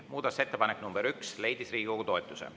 Muudatusettepanek nr 1 leidis Riigikogu toetuse.